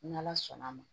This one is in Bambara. N'ala sɔnn'a ma